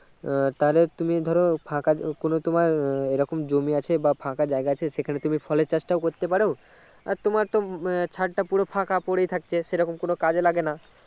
আহ তাহলে তুমি ধরো ফাঁকা কোনো তোমার এইরকম জমি আছে বা ফাঁকা জায়গা আছে সেখানে তুমি ফলের চাষটাও করতে পারো আর তোমার তো ছাদটা পুরো ফাঁকা পরেই থাকছে সেইরকম কোনো কাজে লাগে না